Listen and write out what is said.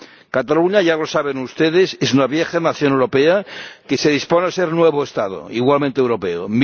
Cataluña —ya lo saben ustedes— es una vieja nación europea que se dispone a ser nuevo Estado, igualmente europeo.